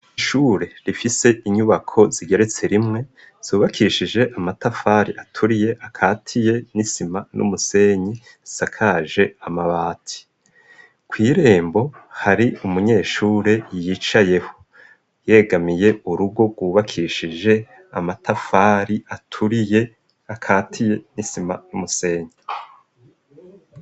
Ishure rifise inyubako zigeretse rimwe zubakishije amatafari aturiye akatiye n'isima n'umusenyi sakaje amabati kw'irembo hari umunyeshure yicayeho yegamiye urugo rwubakishije amatafari aturiye akatiye n'isima n'umusenyi.